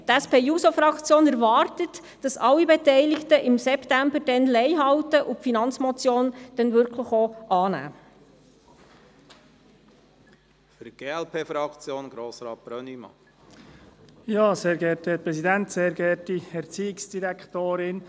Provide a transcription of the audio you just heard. Die SP-JUSO-PSA-Fraktion erwartet, dass alle, die im September beteiligt waren, dazu stehen und die Finanzmotion () auch tatsächlich annehmen werden.